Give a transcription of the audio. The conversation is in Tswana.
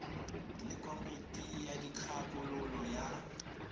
le komiti ya dikgakololo ya